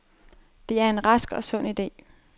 Det er en rask og sund ide.